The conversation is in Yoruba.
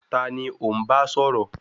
Taani ò ń bá sọ̀rọ̀?